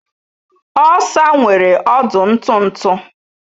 Osa nwere ọdụ ntụ ntụ